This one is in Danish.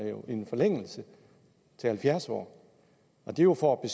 til halvfjerds år og det er jo for at